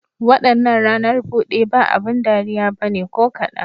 Wadannan ranar bude ba abin dariya ba ne ko kadan.